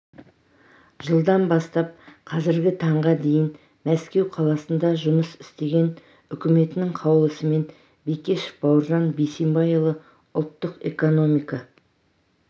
жылдан бастап қазіргі таңға дейін мәскеу қаласында жұмыс істеген үкіметінің қаулысымен бекешев бауыржан бейсенбайұлы ұлттық экономика